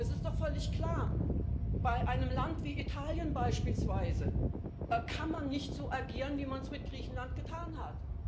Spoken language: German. Es ist doch völlig klar Bei einem Land wie Italien beispielsweise kann man nicht so agieren, wie man es mit Griechenland getan hat.